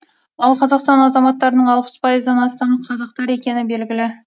ал қазақстан азаматтарының алпыс пайыздан астамы қазақтар екені белгілі